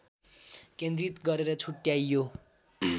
केन्द्रित गरेर छुट्ट्याइयो